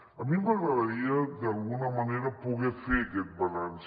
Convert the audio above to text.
a mi m’agradaria d’alguna manera poder fer aquest balanç